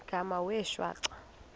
igama wee shwaca